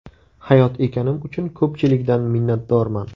Hayot ekanim uchun ko‘pchilikdan minnatdorman.